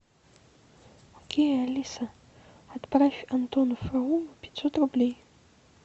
окей алиса отправь антону фролову пятьсот рублей